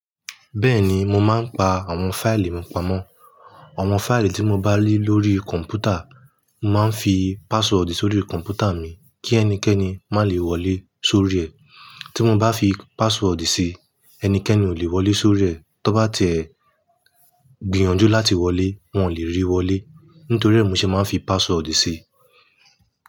Bẹ́ẹ̀ni, mo máa ń pa àwọn fáìlì mi pamọ́. Àwọn fáìlì tí mo bá ní lórí kọ̀m̀pútà, mo máa ń fi password sórí kọ̀m̀pútà mi kí ẹnikẹ́ni má lè wọlé sórí rẹ̀. Tí mo bá fi password sí i, ẹnikẹ́ni ò lè wọlé sórí rẹ̀. Tọ́ bá tiẹ̀ gbìyànjú láti wọlé, wọn ò lè rí wọlé nítorí ẹ́ mi ṣe máa ń fi password sí i.